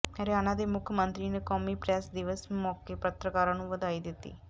ਰਹਰਿਆਣਾ ਦੇ ਮੁੱਖ ਮੰਤਰੀ ਨੇ ਕੌਮੀ ਪ੍ਰੈਸ ਦਿਵਸ ਮੌਕੇ ਪੱਤਰਕਾਰਾਂ ਨੂੰ ਵਧਾਈ ਦਿੱਤੀ